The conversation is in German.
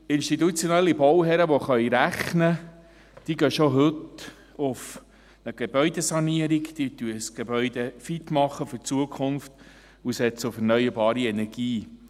Institutionelle Bauherren, die rechnen können, die gehen schon heute eine Gebäudesanierung an, die machen ein Gebäude fit für die Zukunft und setzen auf erneuerbare Energie.